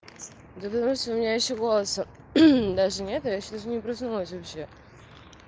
да понимаешь у меня ещё голоса даже нету я ещё даже не проснулась вообще